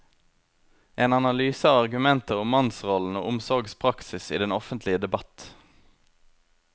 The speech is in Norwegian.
En analyse av argumenter om mannsrollen og omsorgspraksis i den offentlige debatt.